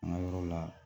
An ka yɔrɔ la